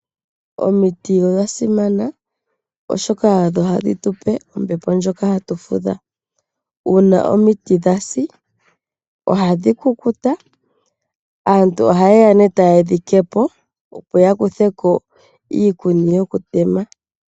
Omiti odha simana oshoka odho hadhi tu pe ombepo ndjoka hatu fudha. Uuna omiti dha si ohadhi kukuta, aantu oha ye ya e ta ye dhi tete po, opo ya kuthe ko iikuni yokutema.